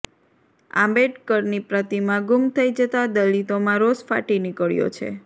આંબેડકરની પ્રતિમા ગુમ થઈ જતાં દલિતોમાં રોષ ફાટી નિકળ્યો છે